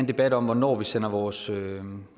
debat om hvornår vi sender vores